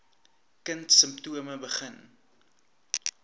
kind simptome begin